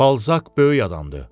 Balzaq böyük adamdır.